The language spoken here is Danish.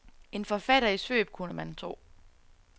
En forfatter i svøb kunne man tro.